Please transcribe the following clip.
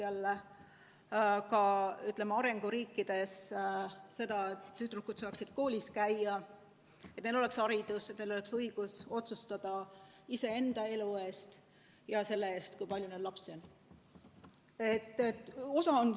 Oleks vaja, et arenguriikides tüdrukud saaksid koolis käia, et neil oleks haridus, et neil oleks õigus otsustada iseenda elu üle ja selle üle, kui palju lapsi neil on.